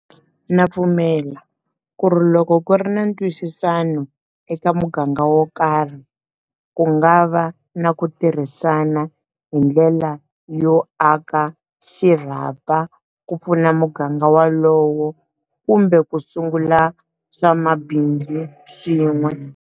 Na pfumela ku ri loko ku ri na ntwisisano eka muganga wo karhi ku nga va na ku tirhisana hi ndlela yo aka xirhapa ku pfuna muganga waloyo kumbe ku sungula swa mabindzu swin'we.